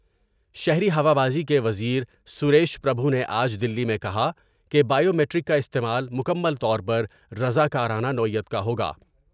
شہری ہوا بازی کے وزیرسریش پر بھو نے آج دلی میں کہا کہ بائیومیٹرک کا استعمال مکمل طور پر رضا کارانہ نوعیت کا ہوگا ۔